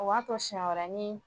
O b'a to siɲɛ wɛrɛ ni